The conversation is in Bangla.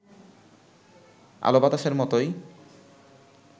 আলোবাতাসের মতোই